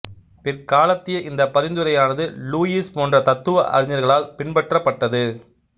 பிற்காலத்திய இந்தப் பரிந்துரையானது லூயிஸ் போன்ற தத்துவ அறிஞர்களால் பின்பற்றப்பட்டது